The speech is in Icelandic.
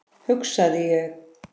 hugsaði ég.